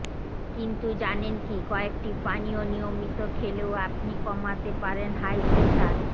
কিন্তু জানেন কি কয়েকটি পানীয় নিয়মিত খেলেও আপনি কমাতে পারেন হাই প্রেশার